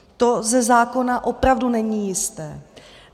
To ze zákona opravdu není jisté.